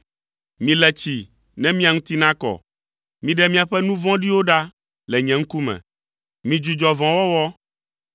“Mile tsi ne mia ŋuti nakɔ. Miɖe miaƒe nu vɔ̃ɖiwo ɖa le nye ŋkume! Midzudzɔ vɔ̃wɔwɔ,